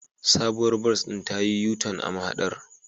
Sabuwar bas ɗin ta yi U-Jun a mahadar